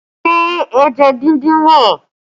Ṣé ẹja díndín wà?